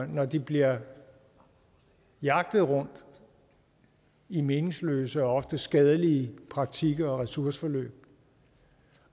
når de bliver jagtet rundt i meningsløse og ofte skadelige praktikker og ressourceforløb